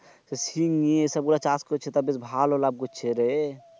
তা শিং নিয়ে এসে সব গুলা চাষ কইচ্ছে তা বেশ ভালো লাভ কইচ্ছেরে।